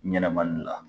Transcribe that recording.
Ɲɛnɛma gilan